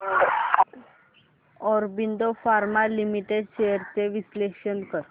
Aurobindo pharma limited shares चे विश्लेषण कर